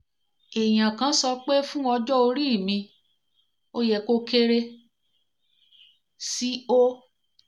èèyàn kan sọ pé fún ọjọ́ orí mi ó yẹ kó kéré sí 0